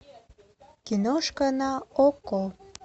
киношка на окко